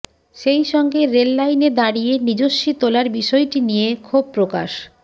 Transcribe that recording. সেই সঙ্গে রেল লাইনে দাঁড়িয়ে নিজস্বী তোলার বিষয়টি নিয়ে ক্ষোভপ্রকাশ